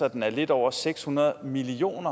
at den er lidt over seks hundrede million